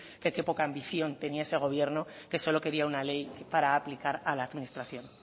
que qué poca ambición tenía ese gobierno que solo quería una ley para aplicar a la administración